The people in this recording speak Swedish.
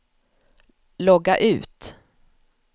logga ut